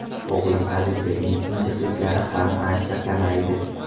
O‘g‘lim Azizbekning injiqliklari ham ancha kamaydi.